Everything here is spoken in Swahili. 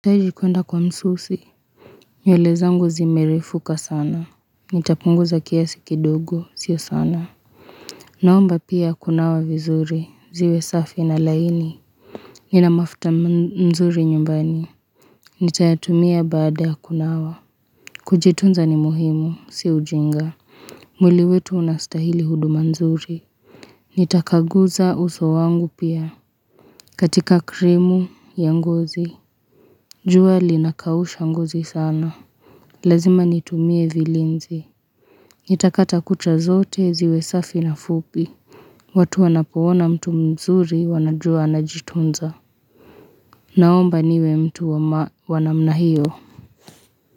Ili kuenda kwa msusi nywele zangu zimerefuka sana Nitapunguza kiasi kidogo, sio sana Naomba pia kunawa vizuri. Ziwe safi na laini Nina mafuta mzuri nyumbani Nitayatumia baada ya kunawa Kujitunza ni muhimu, si ujinga mwili wetu unastahili huduma nzuri Nitakaguza uso wangu pia, katika krimu ya ngozi jua linakausha ngozi sana Lazima nitumie vilinzi. Nitakata kucha zote, ziwe safi na fupi. Watu wanapoona mtu mzuri, wanajua anajitunza. Naomba niwe mtu wama wa namna hiyo.